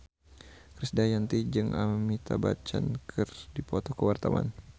Krisdayanti jeung Amitabh Bachchan keur dipoto ku wartawan